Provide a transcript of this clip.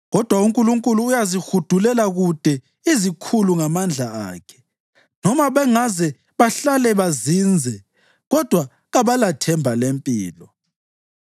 Kodwa uNkulunkulu uyazihudulela kude izikhulu ngamandla akhe. Noma bangaze bahlale bazinze kodwa kabalathemba lempilo.